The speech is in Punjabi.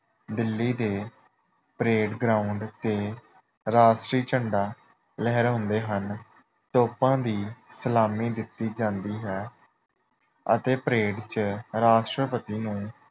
ਦਿੱਲੀ ਦੇ ਪਰੇਡ ਗਰਾਊਂਡ ਤੇ ਰਾਸ਼ਟਰੀ ਝੰਡਾ ਲਹਿਰਾਉਂਦੇ ਹਨ। ਤੋਪਾਂ ਦੀ ਸਲਾਮੀ ਦਿੱਤੀ ਜਾਂਦੀ ਹੈ ਅਤੇ ਪਰੇਡ ਚ ਰਾਸ਼ਟਰਪਤੀ ਨੂੰ